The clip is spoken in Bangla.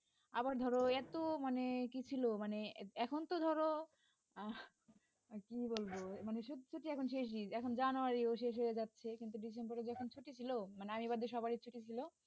আবার ধরো এত মানে কি ছিল মানে এখন তো ধরো আহ কি বলবো মানে সত্যি সত্যিই এখন শেষ ই এখন January ও শেষ হয়ে যাচ্ছে কিন্তু December এ যখন ছুটি ছিল মানে আমি বাদে সবাই এর ছুটি ছিল